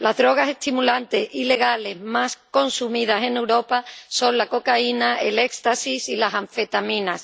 Las drogas estimulantes ilegales más consumidas en Europa son la cocaína, el éxtasis y las anfetaminas.